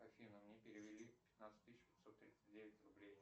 афина мне перевели пятнадцать тысяч пятьсот тридцать девять рублей